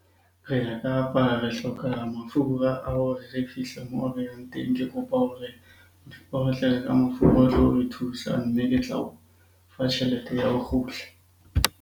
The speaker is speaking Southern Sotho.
Re ya Kapa, re hloka mafura ao re re fihle moo re yang teng. Ke kopa hore o re tlele ka mafura a tlo re thusa. Mme ke tla o fa tjhelete ya ho kgutla.